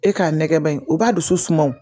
E k'a nɛgɛban o b'a dusu suma wo